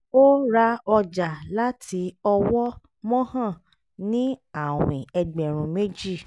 ó ra ọjà láti ọwọ́ mohan ní àwìn ẹgbẹ̀rún méjì